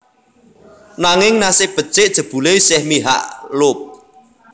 Nanging nasib becik jebulé isih mihak Loeb